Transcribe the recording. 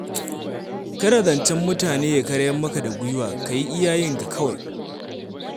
Kada zancen mutane ya karyar maka da guiwa ka yi iya yinka kawai.